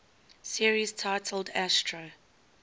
series titled astro